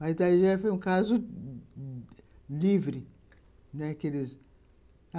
Mas já foi um caso livre, né.